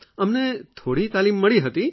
અમને થોડી તાલીમ મળી હતી